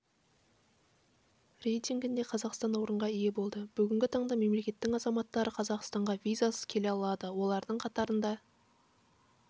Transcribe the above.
рейтингінде қазақстан орынға ие болды бүгінгі таңда мемлекеттің азаматтары қазақстанға визасыз келе алады олардың қатарында